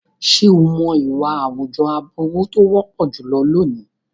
Ṣé o mọ̀ ìwà àwùjọ aburú tó wọ́pọ̀ jùlọ lónìí?